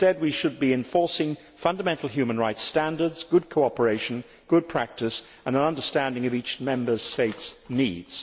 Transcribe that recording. Instead we should be enforcing fundamental rights standards, good cooperation, good practice and an understanding of each Member State's needs.